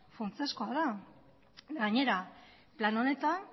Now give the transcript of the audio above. funtsezkoa da gainera plan honetan